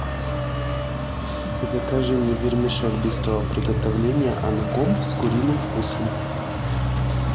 закажи мне вермишель быстрого приготовления анком с куриным вкусом